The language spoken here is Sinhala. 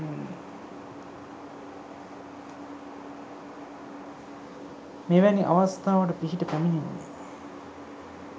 මෙවැනි අවස්ථාවට පිහිට පැමිණෙන්නේ